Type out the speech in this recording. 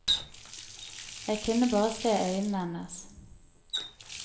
Jeg kunne bare se øynene hennes.